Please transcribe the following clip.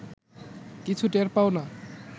কিছু টের পাও না